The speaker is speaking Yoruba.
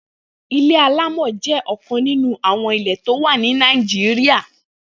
Ilé àlámọ̀ jẹ ọkán ninú awọn ilé tó wà ni Nàijiriá